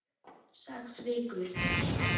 Sex vikur.